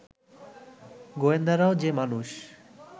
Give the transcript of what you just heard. গোয়েন্দারাও যে মানুষ